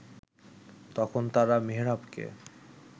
তখন তারা মেহেরাবকে